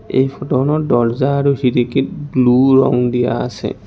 এই ফটোখনত দৰ্জা আৰু খিৰিকীত ব্লু ৰং দিয়া আছে।